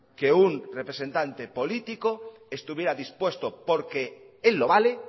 que un representante político estuviera dispuesto porque él lo vale